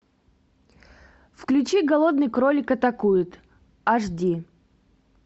включи голодный кролик атакует аш ди